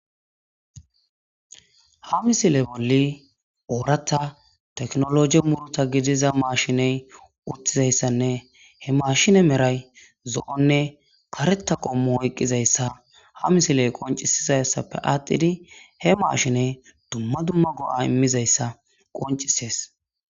ha misile bolli ooratta teknologe muruta gidiza mashiney uttizayssanne he mashine meray zo7onne kareta qommu oyqqizayssa ha misiley qoncisizayssappe aatthidi he maashiney dumma dumma go7a immizayssa qoncisees